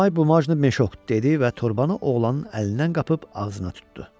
"Davay bu meşok" dedi və torbanı oğlanın əlindən qapıb ağzına tutdu.